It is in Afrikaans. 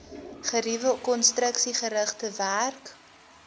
geriewe konstruksiegerigte werk